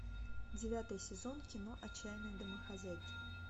девятый сезон кино отчаянные домохозяйки